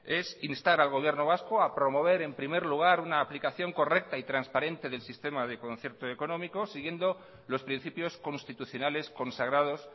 es instar al gobierno vasco a promover en primer lugar una aplicación correcta y transparente del sistema de concierto económico siguiendo los principios constitucionales consagrados